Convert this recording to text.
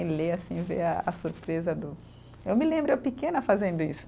E ler, assim, ver a a surpresa do. Eu me lembro, eu pequena fazendo isso.